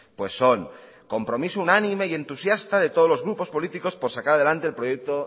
pues son compromiso unánime y entusiasta de todos los grupos políticos por sacar adelante el proyecto